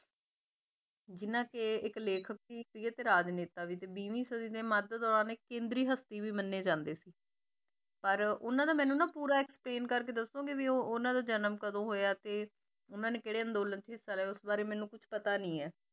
ਜਿੰਨਾ ਕਿ ਇੱਕ ਰਾਜਨੇਤਾ ਵੀ ਤੇ ਵੀਹਵੀਂ ਸਦੀ ਦੇ ਮੱਧ ਦੌਰਾਨ ਇੱਕ ਕੇਂਦਰੀ ਹਸਤੀ ਵੀ ਮੰਨੇ ਜਾਂਦੇ ਸੀ ਪਰ ਉਹਨਾਂ ਦਾ ਮੈਨੂੰ ਨਾ ਪੂਰਾ explain ਕਰਕੇ ਦੱਸੋਂਗੇ ਵੀ ਉਹ ਉਹਨਾਂ ਦਾ ਜਨਮ ਕਦੋਂ ਹੋਇਆ ਤੇ ਉਹਨਾਂ ਨੇ ਕਿਹੜੇ ਅੰਦੋਲਨ 'ਚ ਹਿੱਸਾ ਲਿਆ ਉਸ ਬਾਰੇ ਮੈਨੂੰ ਕੁਛ ਪਤਾ ਨੀ ਹੈ।